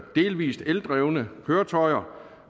delvis eldrevne køretøjer